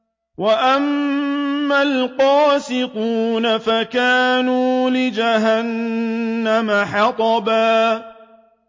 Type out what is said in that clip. وَأَمَّا الْقَاسِطُونَ فَكَانُوا لِجَهَنَّمَ حَطَبًا